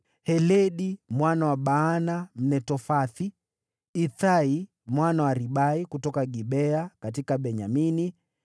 Heledi mwana wa Baana, Mnetofathi; Itai mwana wa Ribai kutoka Gibea ya Benyamini;